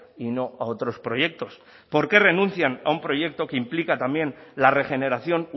y no a otros proyectos por qué renuncian a un proyecto que implica también la regeneración